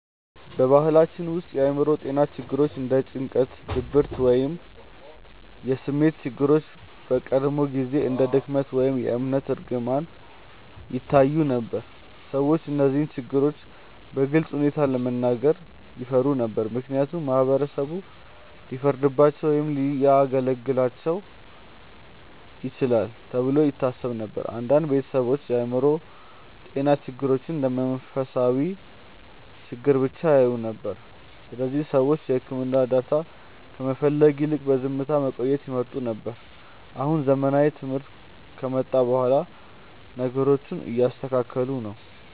በባህላችን ውስጥ የአእምሮ ጤና ችግሮች እንደ ጭንቀት፣ ድብርት ወይም የስሜት ችግሮች በቀድሞ ጊዜ እንደ ድክመት ወይም የእምነት እርግማን ይታዩ ነበር። ሰዎች እነዚህን ችግሮች በግልፅ ሁኔታ ለመናገር ይፈሩ ነበር፣ ምክንያቱም ማህበረሰቡ ሊፈርድባቸው ወይም ሊያገለልባቸው ይችላል ተብሎ ይታሰብ ነበር። አንዳንድ ቤተሰቦችም የአእምሮ ጤና ችግሮችን እንደ መንፈሳዊ ችግር ብቻ ያዩ ነበር፣ ስለዚህ ሰዎች የሕክምና እርዳታ ከመፈለግ ይልቅ በዝምታ መቆየትን ይመርጡ ነበር። አሁን ዘመናዊ ትምህርት ከመጣ በኋላ ነገሮቹ እየተስተካከሉ ነው።